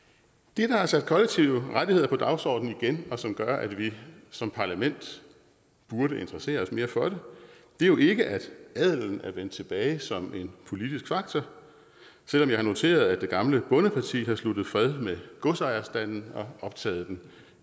det der har sat kollektive rettigheder på dagsordenen igen og som gør at vi som parlament burde interessere os mere for det er jo ikke at adelen er vendt tilbage som en politisk faktor selv om jeg har noteret at det gamle bondeparti har sluttet fred med godsejerstanden og optaget den